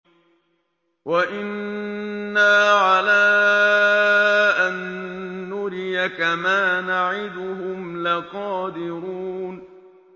وَإِنَّا عَلَىٰ أَن نُّرِيَكَ مَا نَعِدُهُمْ لَقَادِرُونَ